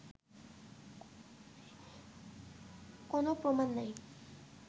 কোনো প্রমাণ নেই